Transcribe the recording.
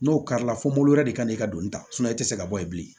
N'o karila fɔ mori wɛrɛ de kan n'i ka donni ta e tɛ se ka bɔ yen bilen